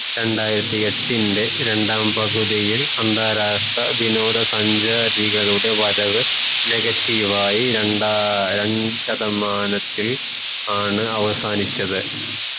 രണ്ടായിരത്തി എട്ടിന്റെ രണ്ടാം പകുതിയിൽ വിനോദ സഞ്ചാരികളുടെ വരവ് negative ആയി രണ്ടാ രണ്ട് ശതമാനത്തിൽ ആണ് അവസാനിച്ചത്